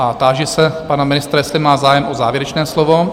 A táži se pana ministra, jestli má zájem o závěrečné slovo?